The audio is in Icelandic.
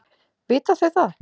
Vita þau það?